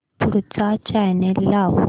पुढचा चॅनल लाव